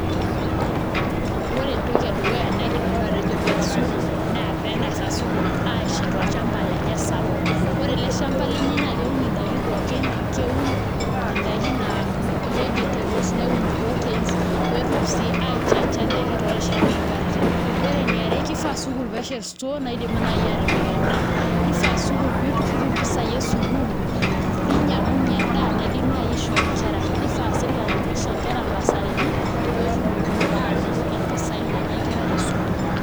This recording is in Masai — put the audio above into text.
Ore entoki edukuya naidim nanu atejo pee ees sukuul naa pee eng'asaashet olchamba lenye sapuk, ore ele shamba lenye naa keun ndaiki pookin, keun indaiki naa vegetables, neun proteins pee etum sii aichanga ndaiki toorishat onkatitin, ore eniare kifaa sukuul pee eshet store naidim naai aatipik endaa nifaa sukuul pee iturrur impisaai esukuul pee inyiang'unyie endaa naidim naai aishoo nkera nifaa sii sirkali pee isho nkera imbasarini pee etumokini aanoto impisaai naanya nkera te sukuul.